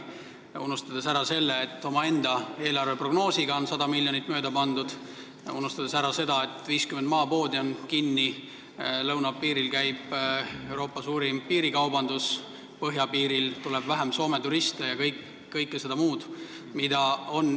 Nad on unustanud ära selle, et omaenda eelarveprognoosis on nad 100 miljoniga mööda pandud, ja selle, et 50 maapoodi on kinni, lõunapiiril käib Euroopa elavaim piirikaubandus, põhjapiirilt tuleb vähem Soome turiste ja kõik muu sellise.